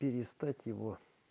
перестать его